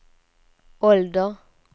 ålder